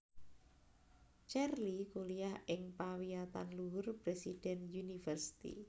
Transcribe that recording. Cherly kuliah ing pawiyatanluhur President University